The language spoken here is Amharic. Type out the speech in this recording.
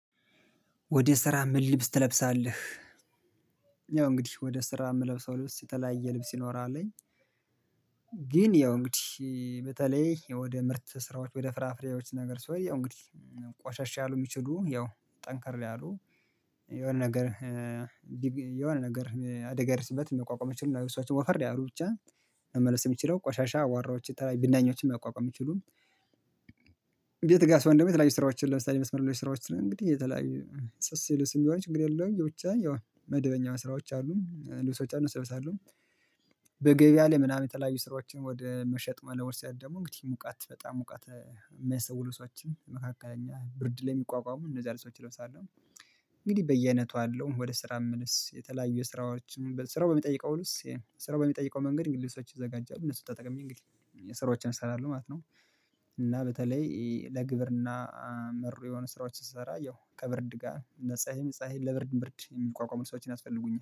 ወደ ስራ ምን ልብስ ትለብሳለህ? ያው እንግዲህ ወደ ስራ እምለብሰው ልብስ የተለያየ ልብስ ይኖራል። ግን ያው እንግዲህ በተለይ ወደ ምርት ስራዎች ወደ ፍራፍሬዎች ነገር ስሆን ያው እንግዲህ ቆሸሽ ያሉ የሚችሉ ያው ጠንከር ያሉ የሆነ ነገር የሆነ ነገር አደጋ ቢደርስበት መቋቋም እሚችሉ ልብሶችን ወፈር ያሉ ብቻ መመለስ የሚችለው ቆሻሻ አቧራዎችን የተለያዩ ብናኞችን መቋቋም የሚችሉ። ቤት ጋር ስሆን ደግሞ የተለያዩ ስራዎችን ለምሳሌ መስመር ላይ ስራዎች እንግዲህ የተለያዩ ስስ ልብስም ቢሆን ችግር የለውም ያው ብቻ ያው መደበኛ ስራዎች አሉ ልብሶች አሉ እለብሳለሁ። በገበያ ላይ ምናምን የተለያዩ ስራዎችን ወደ መሸጥ መለወጥ ስሄድ ደግሞ እንግዲህ ሙቀት በጣም ሙቀት እሚያስተው ልብሶችን መካከል ብርድ ለሚቋቋሙ እነዛን ልብሶች እለብሳለሁ። እንግዲህ በየአይነቱ አለው ወደ ስራ የተለያዩ ስራዎችን ስራው በሚጠይቀው ስራው በሚጠይቀው መንገድ እንግዲህ ልብሶች ይዘጋጃሉ እነሱን ተጠቅሜ እንግዲህ ስራዎችን እሰራለው ማለት ነው። እና በተለይ ለግብርና መሩ የሆኑ ስራዎች ስሰራ ያው ከብርድ ጋር ለፀሀይን ፀሀይ ለብርድን ብርድ የሚቋቋሙ ልብሶችን ያስፈልጉኛል